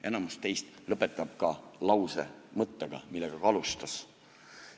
Enamik teist lõpetab lause mõttega, millega ka alustas.